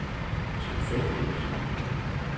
tilfældigt